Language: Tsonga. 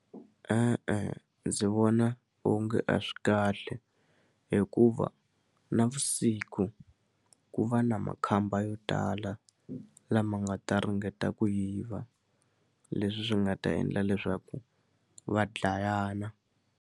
E-e ndzi vona onge a swi kahle hikuva navusiku ku va na makhamba yo tala lama nga ta ringeta ku yiva leswi swi nga ta endla leswaku va dlayana.